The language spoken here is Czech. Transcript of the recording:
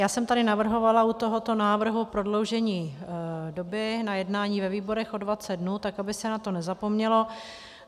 Já jsem tady navrhovala u tohoto návrhu prodloužení doby na jednání ve výborech o 20 dnů, tak aby se na to nezapomnělo.